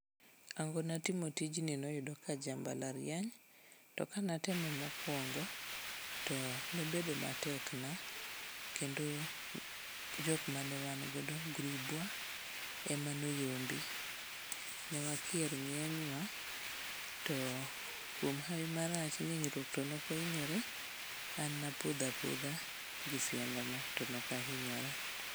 Hangona timo tijni noyudo ka aja mbalariany to kanatemo mokwongo to nobedo matekna kendo jokma ne wangodo grubwa ema noyombi. Ne wakier ng'enywa to kuom hawi marach ni hinyruok to nokwahinyore an napodho apodha gi siandana to nokahinyora.